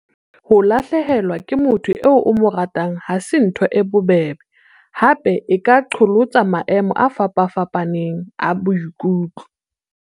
Ho lahlehelwa ke motho eo o mo ratang ha se ntho e bobebe, hape e ka qholotsa maemo a fapafapaneng a boikutlo.